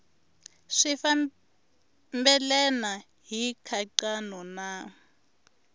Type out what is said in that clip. swi fambelena hi nkhaqato na